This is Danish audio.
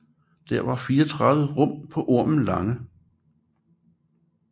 Det var 34 rom på Ormen Lange